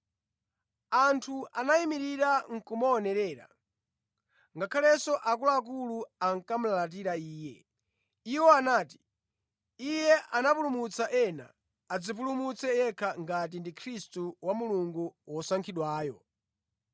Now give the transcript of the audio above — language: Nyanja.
Anthu anayimirira nʼkumaonerera, ngakhalenso akuluakulu ankamulalatira Iye. Iwo anati, “Iye anapulumutsa ena; adzipulumutse yekha ngati ndi Khristu wa Mulungu, Wosankhidwayo.”